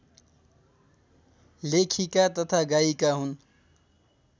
लेखिका तथा गायिका हुन्